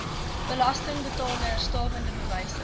belastingbetalers stawende bewyse